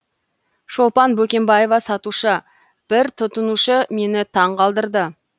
шолпан бөкенбаева сатушы бір тұтынушы мені таңғалдырды